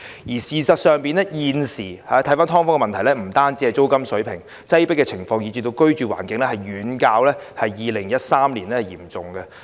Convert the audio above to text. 事實上，現時的"劏房"問題不只牽涉租金水平，擠迫情況以至居住環境問題均遠較2013年嚴重。